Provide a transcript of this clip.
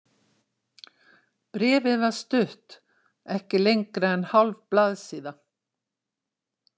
Bréfið var stutt, ekki lengra en hálf blaðsíða.